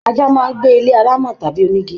Ajá máa n gbé ilé alámọ̀ tàbí onígí.